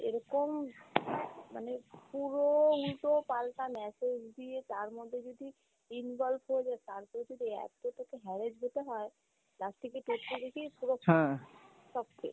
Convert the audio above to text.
এরকম মানে পুরো উল্টো পাল্টা message দিয়ে তার মধ্যে যদি involve হয়ে যাই তার পর যদি এতটুকু harass হতে হয় তার থেকে পুরো